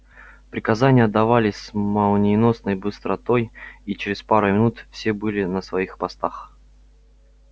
приказания отдавались с молниеносной быстротой и через пару минут все были на своих постах